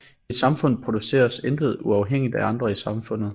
I et samfund produceres intet uafhængigt af andre i samfundet